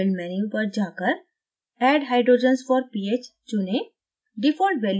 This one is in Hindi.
build menu पर जाकर add hydrogens for ph चुनें